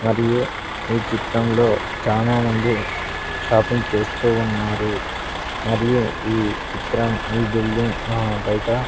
మరియు ఈ చిత్రంలో చానామంది షాపింగ్ చేస్తూ ఉన్నారు మరియు ఈ చిత్రం ఈ బిల్డింగ్ అహ్ బయట--